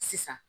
Sisan